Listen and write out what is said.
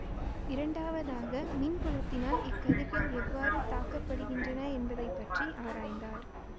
இரண்டாவதாக மின்புலத்தினால் இக்கதிர்கள் எவ்வாறு தாக்கப்படுகின்றன என்பதை பற்றி அராய்ந்தார்